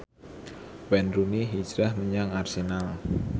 Wayne Rooney hijrah menyang Arsenal